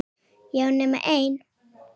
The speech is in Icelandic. Já, nema ein.